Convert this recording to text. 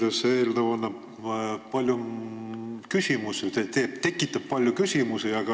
Ausalt öeldes tekitab see eelnõu palju küsimusi.